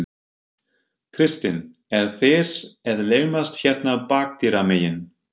Kristinn: Eru þeir að laumast hérna bakdyramegin?